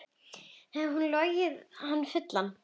Hafði hún logið hann fullan?